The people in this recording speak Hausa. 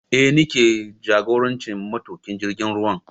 Eh ni ke jagorancin matuƙin jirgin ruwan